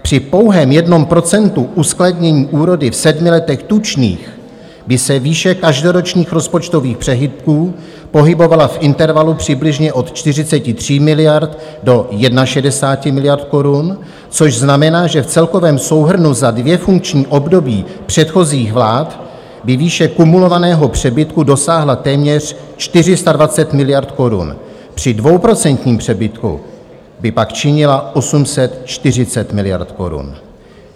Při pouhém jednom procentu uskladnění úrody v sedmi letech tučných by se výše každoročních rozpočtových přebytků pohybovala v intervalu přibližně od 43 miliard do 61 miliard korun, což znamená, že v celkovém souhrnu za dvě funkční období předchozích vlád by výše kumulovaného přebytku dosáhla téměř 420 miliard korun, při dvouprocentním přebytku by pak činila 840 miliard korun.